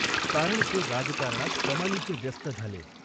कारण ते राजकाऱणात कमालीचे व्यस्त झाले.